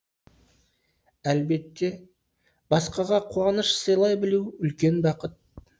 әлбетте басқаға қуаныш сыйлай білу үлкен бақыт